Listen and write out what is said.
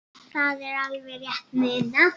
Það er alveg rétt munað.